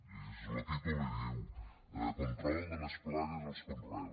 llegeixes lo títol i diu control de les plagues als conreus